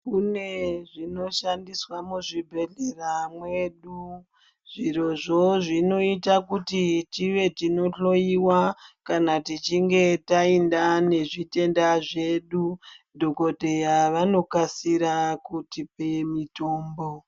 Kune zvinoshandiswa muzvibhedhlera mwedu. Zvirozvo zvinoita kuti tive tinohloiwa kana tichinge taenda nezvitenda zvedu, dhogodheya vanokasira kutipe mitombo.